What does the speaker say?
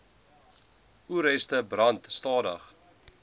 oesreste brand stadig